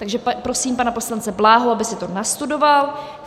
Takže prosím pana poslance Bláhu, aby si to nastudoval.